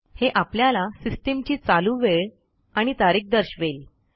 हे आपल्याला सिस्टीमची चालू वेळ आणि तारीख दर्शवेल